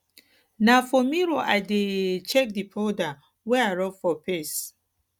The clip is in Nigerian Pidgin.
na for mirror i dey um check di powder wey di powder wey i rob for face